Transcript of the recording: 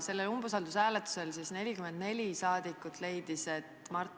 Sellel umbusaldushääletusel 44 saadikut leidsid, et nad